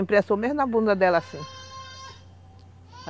Imprensou mesmo na bunda dela assim.